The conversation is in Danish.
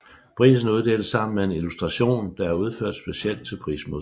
Prisen uddeles sammen med en illustration der er udført specielt til prismodtageren